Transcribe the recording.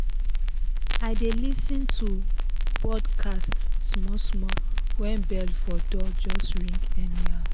i dey lis ten to podcast small small when bell for door just ring anyhow